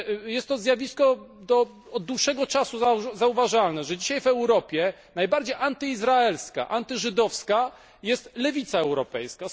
Jest to zjawisko od dłuższego czasu zauważalne, że dzisiaj w Europie najbardziej antyizraelska, antyżydowska jest lewica europejska.